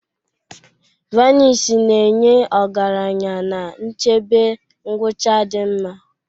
Vanisi na-enye ọgaranya na nchebe ngwucha di nma.